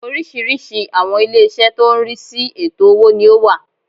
Oriísirísi àwọn ilé isẹ́ tó n rí sí ètò owó ni ó wà